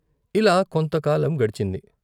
ఇలా కొంతకాలం గడిచింది.